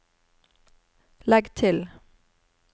legg til